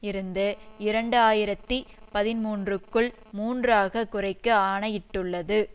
இருந்து இரண்டு ஆயிரத்தி பதிமூன்றுக்குள் மூன்று ஆக குறைக்க ஆணையிட்டுள்ளது